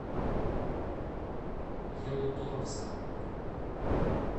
ялуторовском